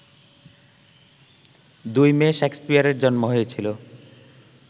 ২ May শেক্সপিয়ারের জন্ম হয়েছিল